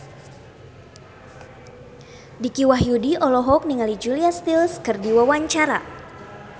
Dicky Wahyudi olohok ningali Julia Stiles keur diwawancara